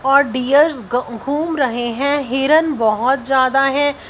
और डीयर्स ग घूम रहे हैं हिरन बहुत ज्यादा हैं।